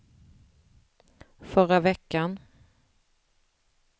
förra veckan